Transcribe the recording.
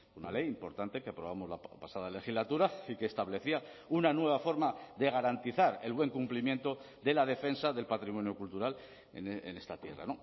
una ley importante que aprobamos la pasada legislatura y que establecía una nueva forma de garantizar el buen cumplimiento de la defensa del patrimonio cultural en esta tierra